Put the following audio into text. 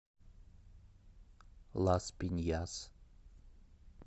лас пиньяс